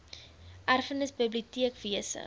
erfenis biblioteek wese